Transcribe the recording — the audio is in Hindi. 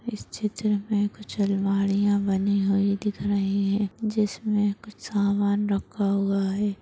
इस चित्र में कुछ अलमारियां बनी हुई दिख रही हैं जिसमें कुछ सामान रख़ा हुआ हैं।